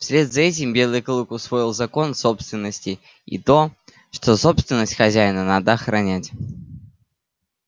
вслед за этим белый клык усвоил закон собственности и то что собственность хозяина надо охранять